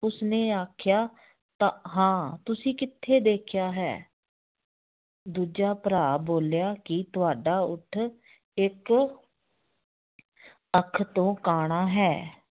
ਉਸਨੇ ਆਖਿਆ ਤਾਂ ਹਾਂ ਤੁਸੀ ਕਿੱਥੇ ਦੇਖਿਆ ਹੈ ਦੂਜਾ ਭਰਾ ਬੋਲਿਆ ਕਿ ਤੁਹਾਡਾ ਊਠ ਇੱਕ ਅੱਖ ਤੋਂ ਕਾਣਾ ਹੈ